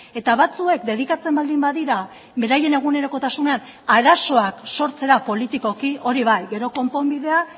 eta batzuek dedikatzen baldin badira beraien egunerokotasunean arazoak sortzera politikoki hori bai gero konponbidea